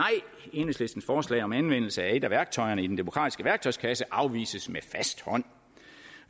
enhedslistens forslag om anvendelse af et af værktøjerne i den demokratiske værktøjskasse afvises med fast hånd